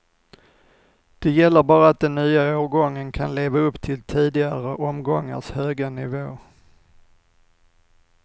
Det gäller bara att den nya årgången kan leva upp till tidigare omgångars höga nivå.